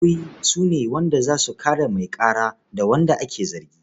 Lauyoyi su ne za su kare mai ƙara da wanda ake zargi.